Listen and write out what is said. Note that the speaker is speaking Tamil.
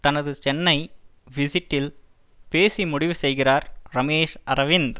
தனது சென்னை விசிட்டில் பேசி முடிவு செய்கிறார் ரமேஷ் அரவிந்த்